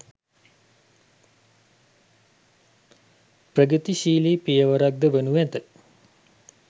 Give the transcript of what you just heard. ප්‍රගතිශීලී පියවරක් ද වනු ඇත.